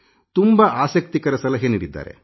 ತುಂಬಾ ಆಸಕ್ತಿಕರ ಸಲಹೆ ನೀಡಿದ್ದಾರೆ